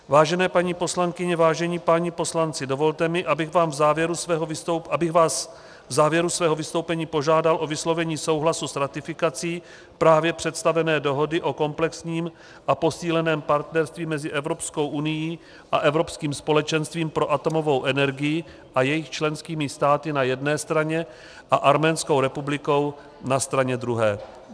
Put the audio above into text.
Vážené paní poslankyně, vážení páni poslanci, dovolte mi, abych vás v závěru svého vystoupení požádal o vyslovení souhlasu s ratifikací právě představené Dohody o komplexním a posíleném partnerství mezi Evropskou unií a Evropským společenstvím pro atomovou energii a jejich členskými státy na jedné straně a Arménskou republikou na straně druhé.